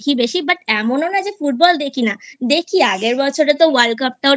বেশি But এমনও না যে Football দেখি না দেখি আগের বছরে তো World Cup টাও